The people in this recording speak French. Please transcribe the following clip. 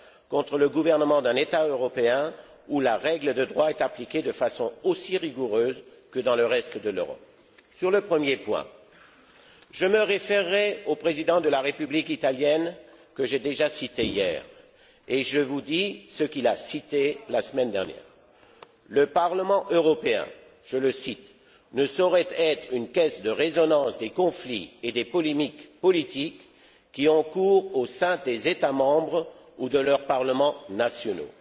contre le gouvernement d'un État européen où l'État de droit est appliqué de façon aussi rigoureuse que dans le reste de l'Europe. Sur le premier point, je me référerai au président de la République italienne, que j'ai déjà cité hier et qui s'est exprimé la semaine dernière Le Parlement européen je le cite ne saurait être une caisse de résonance des conflits et des polémiques politiques qui ont cours au sein des États membres ou de leurs parlements nationaux.